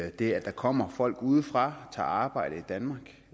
at det at der kommer folk udefra og tager arbejde i danmark